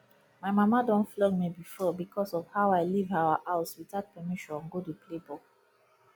my mama don flog me before because of how i leave our house without permission go dey play ball